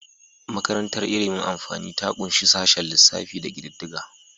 Makarantar ilimin amfani ta ƙunshi sashen lissafi da kididdiga.